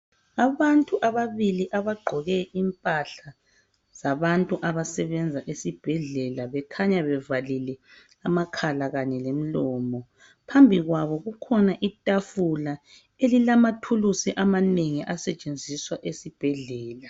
Abantu ababili abagqoke impahla zabantu abasebenza esibhedlela bekhanya bevalile amakhala kanye lemlomo kukhona itafula elilamathulusi amanengi asetshenziswa esibhedlela